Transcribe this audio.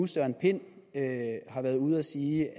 søren pind har været ude at sige